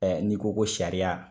Ɛɛ n'i ko ko sariya